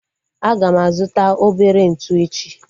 Aga m azuta obere ntụ echi